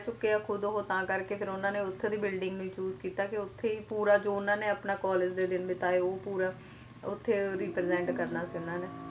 ਹਾਂ ਉੱਥੋਂ ਦੇ student ਰਹਿ ਚੁੱਕੇ ਆ ਖੁਦ ਉਹ ਤਾਂ ਕਰਕੇ ਉਹਨਾਂ ਨੇ ਫੇਰ ਉੱਥੋਂ ਦੀ building ਨੂੰ ਹੀ choose ਕੀਤਾ ਤੇ ਕੇ ਉੱਥੇ ਹੀ ਪੂਰਾ ਜੋ ਉਹਨਾਂ ਨੇ ਆਪਣਾ college ਦੇ ਦਿਨ ਬਿਤਾਏ ਉਹ ਪੂਰਾ ਉੱਥੇ ਉਹ represent ਕਰਨਾ ਸੀ ਉਹਨਾਂ ਨੇ